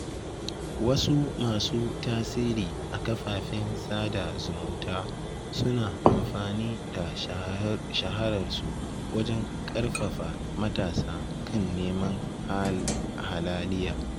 Wasu masu tasiri a kafafen sada zumunta suna amfani da shahararsu wajen ƙarfafa matasa kan neman halaliya.